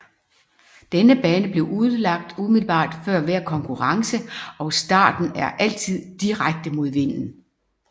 Denne bane bliver udlagt umiddelbar før hver konkurrence og starten er altid direkte mod vinden